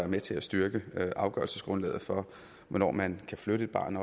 med til at styrke afgørelsesgrundlaget for hvornår man kan flytte et barn